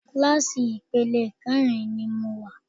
Kíláàsì ipele kẹrin ni mo wà.